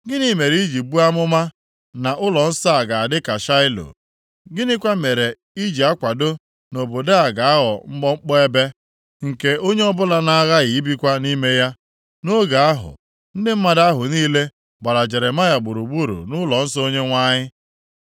Gịnị mere i ji buo amụma na ụlọnsọ a ga-adị ka Shaịlo? Gịnịkwa mere i ji akwado na obodo a ga-aghọ mkpọmkpọ ebe, nke onye ọbụla na-agaghị ebikwa nʼime ya?” Nʼoge ahụ, ndị mmadụ ahụ niile gbara Jeremaya gburugburu nʼụlọnsọ Onyenwe anyị.